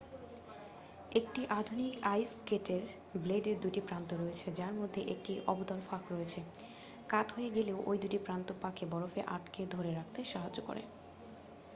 একটি আধুনিক আইস স্কেটের ব্লেডের 2 টি প্রান্ত রয়েছে যার মধ্যে একটি অবতল ফাঁক রয়েছে কাত হয়ে গেলেও ওই দুটি প্রান্ত পাকে বরফে আঁকড়ে ধরে রাখতে সাহায্য করে